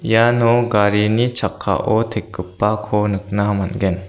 iano garini chakkao tekgipako nikna man·gen.